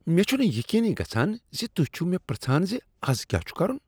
مےٚ چُھنہٕ یقینٕی گژھان ز تہۍ چھو مےٚ پرٛژھان ز از کیا چھ کرُن۔